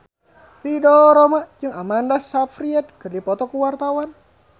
Ridho Roma jeung Amanda Sayfried keur dipoto ku wartawan